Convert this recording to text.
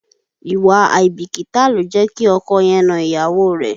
Ìwà àìbìkítà ló jẹ́ kí ọkọ yẹn na ìyàwó rẹ̀.